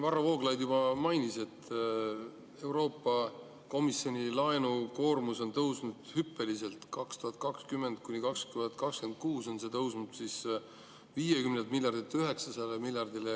Varro Vooglaid juba mainis, et Euroopa Komisjoni laenukoormus on tõusnud hüppeliselt, ja aastatel 2020–2026 tõuseb see 50 miljardilt 900 miljardile.